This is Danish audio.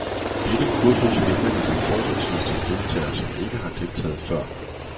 Dette kursus henvender sig fortrinsvis til deltagere, som ikke har deltaget før.